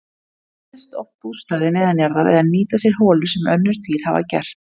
Þeir gera sér oft bústaði neðanjarðar eða nýta sér holur sem önnur dýr hafa gert.